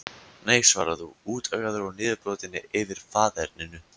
Nei svarar þú, úttaugaður og niðurbrotinn yfir faðerninu.